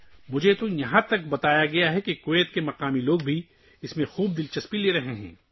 مجھے یہاں تک بتایا گیا ہے کہ کویت کے مقامی لوگ بھی اس میں بہت دلچسپی لے رہے ہیں